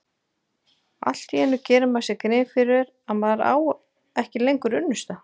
Allt í einu gerir maður sér grein fyrir að maður á ekki lengur unnusta.